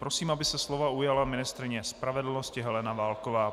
Prosím, aby se slova ujala ministryně spravedlnosti Helena Válková.